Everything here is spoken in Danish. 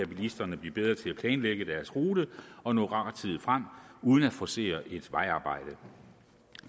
bilisterne blive bedre til at planlægge deres rute og nå rettidigt frem uden at forcere et vejarbejde